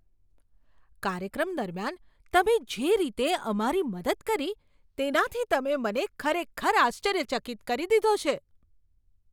કાર્યક્રમ દરમિયાન તમે જે રીતે અમારી મદદ કરી તેનાથી તમે મને ખરેખર આશ્ચર્યચકિત કરી દીધો છે!